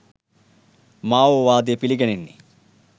මා ඕ වාදය පිළිගැනෙන්නේ